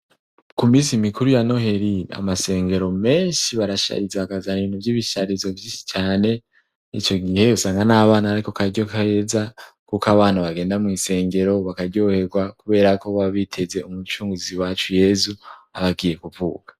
Ku misi mikuru ya Noheli, amasengero menshi barashariza bakazana bintu vy'ibisharizo vyinshi cane. Ico gihe nyene usanga n'abana ariko karyo keza kuko abana bagenda mw' isengero bakaryoherwa kubera ko baba biteze umucunguzi wacu yezu aba agiye kuvuka.